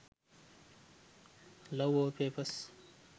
love wallpepars